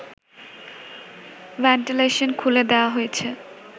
ventilation খুলে দেওয়া হয়েছে